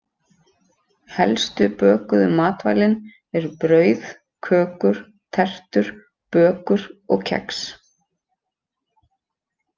Helstu bökuðu matvælin eru brauð, kökur, tertur, bökur og kex.